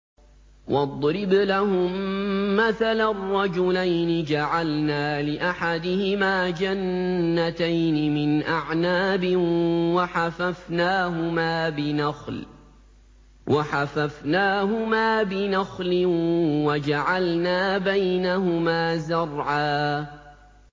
۞ وَاضْرِبْ لَهُم مَّثَلًا رَّجُلَيْنِ جَعَلْنَا لِأَحَدِهِمَا جَنَّتَيْنِ مِنْ أَعْنَابٍ وَحَفَفْنَاهُمَا بِنَخْلٍ وَجَعَلْنَا بَيْنَهُمَا زَرْعًا